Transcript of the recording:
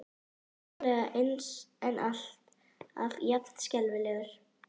Aldrei nákvæmlega eins en alltaf jafn skelfilegur.